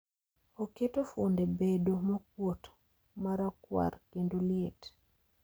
Oketo fwonde bedo mokuot, marakuar, kendo liet